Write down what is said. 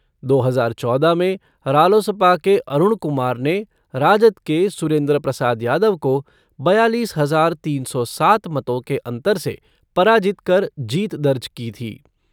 दो हजार चौदह में रालोसपा के अरूण कुमार ने राजद के सुरेंद्र प्रसाद यादव को बयालीस हजार तीन सौ सात मतों के अंतर से पराजित कर जीत दर्ज की थी।